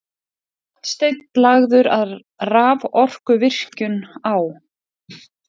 Hornsteinn lagður að raforkuvirkjun á